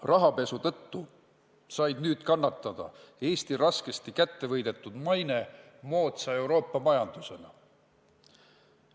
Rahapesu tõttu sai nüüd Eesti raskesti kätte võidetud maine moodsa Euroopa majandusena kannatada.